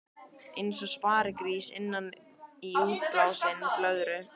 Eins og sparigrís innan í útblásinni blöðru.